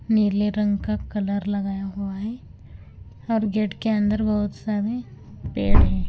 नीले रंग का कलर लगाया हुआ हैं हर गेट के अंदर बहुत सारे पेड़ हैं।